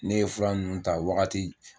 Ne ye fura nunnu ta waagati.